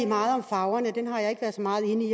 meget om farverne dem har jeg ikke været så meget inde